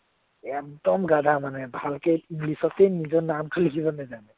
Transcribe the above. একদম গাধা মানে ভালকে ইংলিছতে নিজৰ নামতো লিখিব নেজানে